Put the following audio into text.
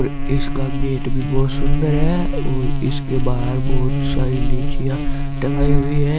इसका गेट भी बहुत सुंदर है और इसके बाहर बहोत सारे लिचिया टंगाई हुई हैं।